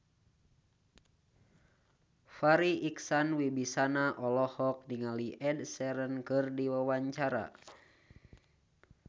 Farri Icksan Wibisana olohok ningali Ed Sheeran keur diwawancara